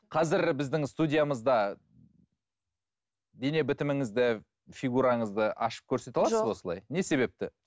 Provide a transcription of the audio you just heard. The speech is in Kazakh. қазір біздің студиямызда дене бітіміңізді фигураңызды ашып көрсете аласыз ба осылай жоқ не себепті